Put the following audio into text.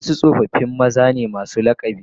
Wasu tsofaffi maza ne masu lakabi